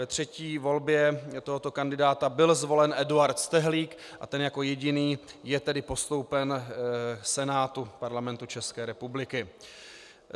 Ve třetí volbě tohoto kandidáta byl zvolen Eduard Stehlík a ten jako jediný je tedy postoupen Senátu Parlamentu České republiky.